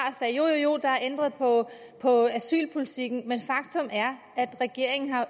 sagde jo jo der er ændret på på asylpolitikken at faktum er at regeringen